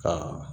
Ka